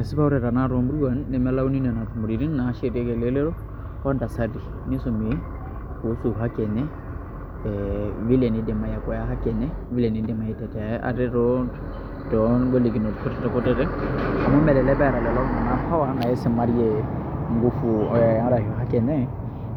Esipa ore tanakata toomuruan nemelauni nena tumoreitin naashetieki elelero o ntasati nisumi pee etum haki ee vile niidim aitetea ate toongolikinot kutitik kutitik amu melelek eeta lelo tung'anak power naisimarie nguvu arashu haki enye